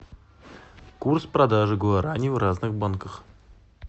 курс продажи гуарани в разных банках